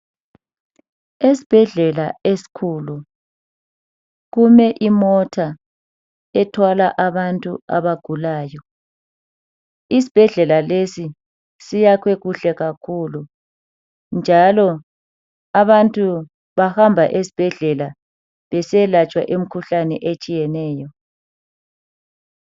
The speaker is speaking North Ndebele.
Esibhedlela esikhulu kume imota , ethwala abantu abagulayo , isibhedlela lesi siyakhwe kuhle kakhulu njalo abantu bahamba esibhedlela besiyalatshwa imikhuhlane etshiyeneyo